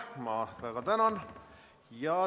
Ma väga tänan.